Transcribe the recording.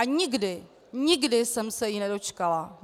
A nikdy, nikdy jsem se jí nedočkala.